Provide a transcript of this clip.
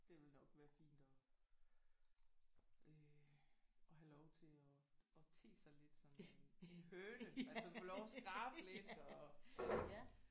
Det ville nok være fint at øh at have lov at at te sig lidt som en høne altså få lov til at skrabe lidt og